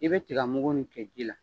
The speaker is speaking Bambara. I bɛ tigamugu nin kɛ ji la